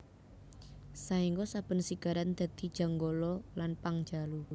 Saéngga saben sigaran dadi Janggala lan Pangjalu